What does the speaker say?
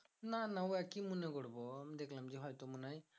না না ও আর কি মনে করবো? দেখলাম যে হয়তো মনে হয়